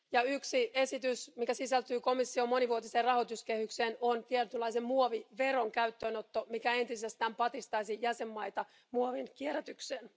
Yksi esitys, mikä sisältyy komission monivuotiseen rahoituskehykseen, on tietynlaisen muoviveron käyttöönotto, mikä entisestään patistaisi jäsenmaita muovin kierrätykseen.